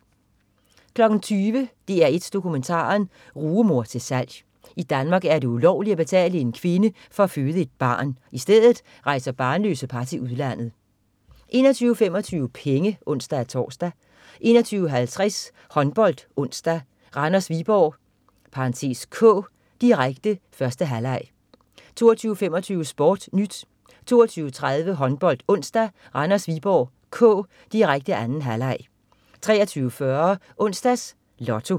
20.00 DR1 Dokumentaren. Rugemor til salg. I Danmark er det ulovligt at betale en kvinde for at føde et barn. I stedet rejser barnløse par til udlandet 21.25 Penge (ons-tors) 21.50 HåndboldOnsdag: Randers-Viborg (k), direkte. 1. halvleg 22.25 SportNyt 22.30 HåndboldOnsdag: Randers-Viborg (k), direkte. 2. halvleg 23.40 Onsdags Lotto